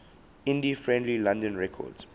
indie friendly london records